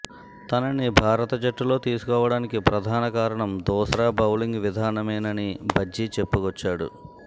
తనని భారత జట్టులో తీసుకోవడానికి ప్రధాన కారణం దూస్రా బౌలింగ్ విధానమేనని అని భజ్జీ చెప్పుకొచ్చాడు